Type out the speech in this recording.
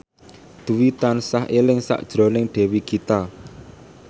Dwi tansah eling sakjroning Dewi Gita